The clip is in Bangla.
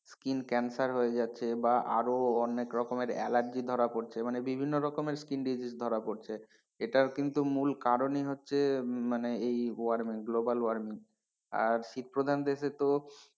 Skin cancer হয়ে যাচ্ছে বা আরো অনেক রকমের এলার্জি ধরা পড়ছে মানে বিভিন্ন রকমের skin disease ধরা পড়ছে, এটার কিন্তু মূল কারণই হচ্ছে মানে এই warming global warming আর শীত প্রধান দেশে তো,